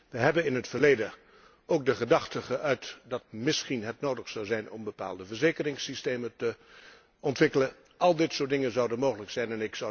We hebben in het verleden ook de gedachte geuit dat het misschien nodig zou zijn om bepaalde verzekeringssystemen te ontwikkelen. Al dit soort dingen zouden mogelijk zijn.